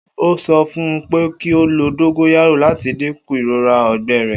O sọ fun u pe ki o lo dongoyaro lati dinku irora ọgbẹ rẹ.